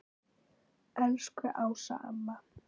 Elsku Ása amma.